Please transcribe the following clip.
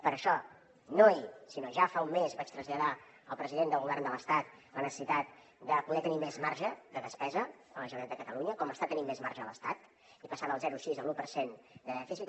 per això no ahir sinó ja fa un mes vaig traslladar al president del govern de l’estat la necessitat de poder tenir més marge de despesa a la generalitat de catalunya com està tenint més marge l’estat i passar del zero coma sis a l’u per cent de dèficit